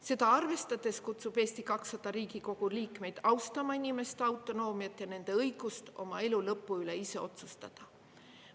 Seda arvestades kutsub Eesti 200 Riigikogu liikmeid austama inimeste autonoomiat ja nende õigust oma elu lõpu üle ise otsustada.